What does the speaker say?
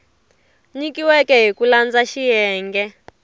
nyikiweke hi ku landza xiyenge